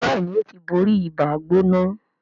Béèni o tí bóri Ibàá-gbóná.